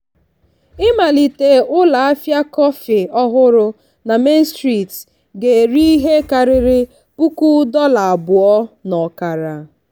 ịmalite ụlọahịa kọfị ọhụrụ na main street ga-eri ihe karịrị puku dollar abụọ na ọkara.